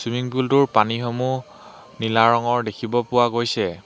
Swimming pool টোৰ পানীসমূহ নীলা ৰঙৰ দেখিব পোৱা গৈছে।